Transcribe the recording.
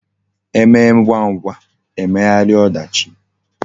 E mee ngwa ngwa, e meghara odachi